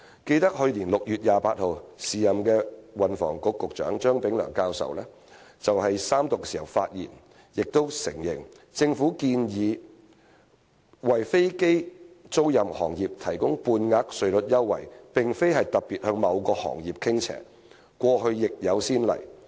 記得在去年6月28日，時任運輸及房屋局局長張炳良教授就相關法案三讀發言時說："我們建議為飛機租賃行業提供半額稅率優惠，並非是特別向某個行業傾斜，過去亦有先例。